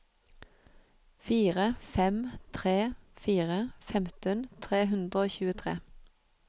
fire fem tre fire femten tre hundre og tjuetre